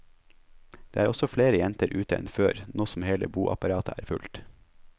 Det er også flere jenter ute enn før, nå som hele boapparatet er fullt.